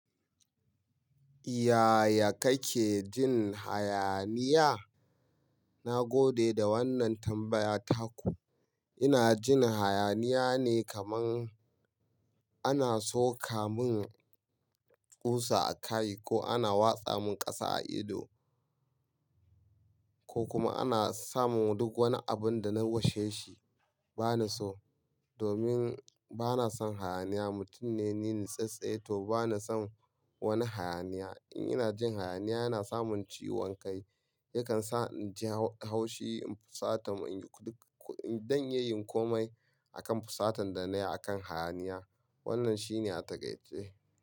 Yaya kake jin hayaniya? Na gode da wannan tambaya taku. Ina jin hayaniya ne kaman ana sokamin ƙusa a kai ko ana watsa mun ƙasa a ido. Ko kuma ana samun duk wani abun da na washe shi. Bana so domin bana son hayaniya. Mutum ne nitsatse to bana son wani hayaniya. In ina jin hayaniya yana samun ciwon kai yakan sa inji haushi in fusata don iyayin komai akan fusatan da na yi akan hayaniya. Wannan shine a takaice.